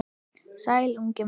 Sæll, ungi maður